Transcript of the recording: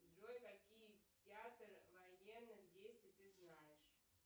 джой какие театры военных действий ты знаешь